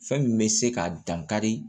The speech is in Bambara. Fɛn min bɛ se ka dankari